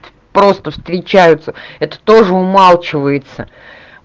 просто встречаются это тоже умалчивается